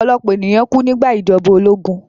Ọ̀pọ̀lọ̀pọ̀ ènìyàn kú nígbà ìjọba ológun